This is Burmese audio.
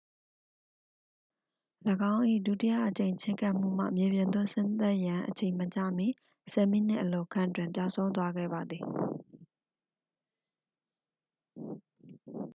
၎င်း၏ ဒုတိယအကြိမ်ချဉ်းကပ်မှုမှ မြေပြင်သို့ဆင်းသက်ရန်အချိန်မကျမီ ဆယ်မိနစ်အလိုခန့်တွင် ပျောက်ဆုံးသွားခဲ့ပါသည်